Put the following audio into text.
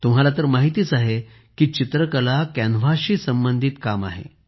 तुम्हाला तर माहित आहेच की चित्रकला कॅनव्हासशी संबंधित काम आहे